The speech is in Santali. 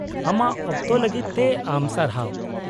-ᱟᱢᱟᱜ ᱚᱠᱛᱚ ᱞᱟᱹᱜᱤᱫ ᱛᱮ ᱟᱢ ᱥᱟᱨᱦᱟᱣ ᱾